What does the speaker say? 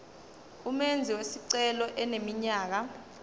umenzi wesicelo eneminyaka